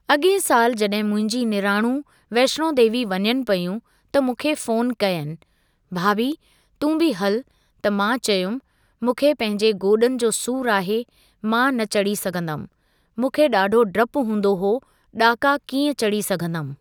अॻे साल जॾहिं मुंहिंजी निणानूं वैष्णो देवी वञनि पेयूं त मूंखे फ़ोन कयनि,, भाभी तूं बि हलु त मां चयुमि मुंखे पंहिंजे गोॾनि जो सूर आहे मां न चढ़ी सघंदमि मूंखे ॾाढो डपु हूंदो हो ॾाका कीअं चढ़ी सघंदमि।